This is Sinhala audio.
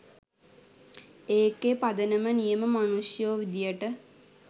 ඒකෙ පදනම නියම මනුෂ්‍යයෝ විදියට